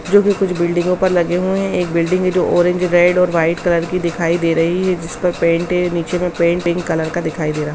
जो की कुछ बिल्डिंगो पर लगे हुए हैं। एक बिल्डिंग है जो ऑरेंज रेड और वाइट कलर की दिखाई दे रही है जिस पर पेंट है। नीचे में पेंट पिंक कलर का दिखाई दे रहा है।